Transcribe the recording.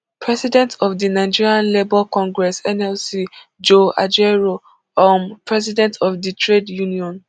president of di nigeria labour congress nlc joe ajaero um president of di trade union